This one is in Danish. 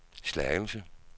Slagelse